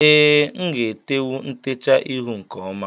Ee, nga etewu ntecha ihu nke ọma